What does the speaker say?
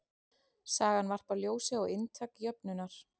Sagan varpar ljósi á inntak jöfnunnar.